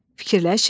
Fikirləşin.